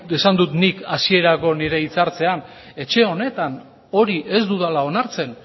esan dut nik hasierako nire hitzartzean etxe honetan hori ez dudala onartzen